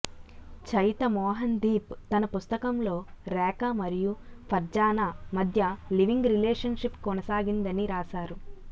చయిత మోహన్ దీప్ తన పుస్తకంలో రేఖ మరియు ఫర్జానా మధ్య లివింగ్ రిలేషన్ షిప్ కొనసాగిందని రాశారు